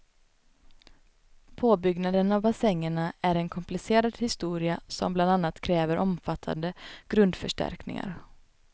Påbyggnaden av bassängerna är en komplicerad historia som bland annat kräver omfattande grundförstärkningar.